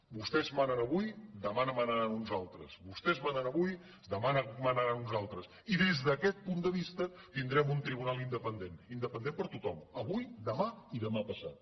vostès manen avui demà manaran uns altres vostès manen avui demà manaran uns altres i des d’aquest punt de vista tindrem un tribunal independent independent per a tothom avui demà i demà passat